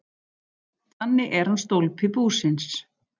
Þannig er hann stólpi búsins.